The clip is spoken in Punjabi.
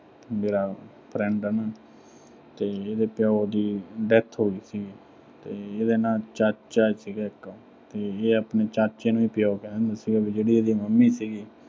ਮੇਰਾ friend ਆ ਨਾ ਅਹ ਤੇ ਇਹਦੇ ਪਿਓ ਦੀ death ਹੋਗੀ ਸੀ ਤੇ ਇਹਦਾ ਨਾ ਅਹ ਚਾਚਾ ਸੀਗਾ ਇੱਕ ਤੇ ਇਹ ਆਪਣੇ ਚਾਚੇ ਨੂੰ ਹੀ ਪਿਓ ਕਹਿੰਦਾ ਸੀਗਾ ਤੇ ਇਹਦੀ ਜਿਹੜੀ mummy ਸੀਗੀ